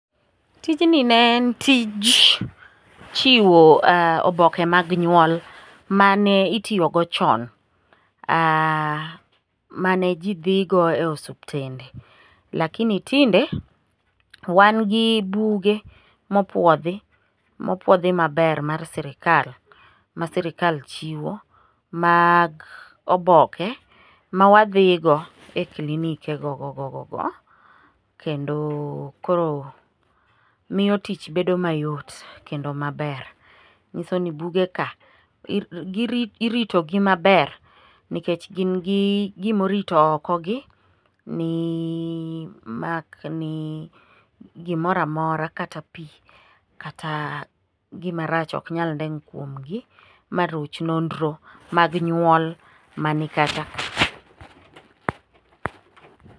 Tijni ne en tij chiwo oboke mag nyuol mane itiyogo chon, mane ji dhigo e osuptende, lakini tinde wan gi buge mopwodhi, mopwodhi maber mar sirikal ma sirikal chiwo mag oboke ma wadhigo e klinikegogogogogo, kendo koro miyo tich bedo mayot kendo maber. Nyiso ni bugeka, iritogi maber nikech gin gi gimorito okogi, mak ni gimora mora kata pi, kata gimarach ok nyal deny kuomgi maruch nonro mag nyuol mani kachaka.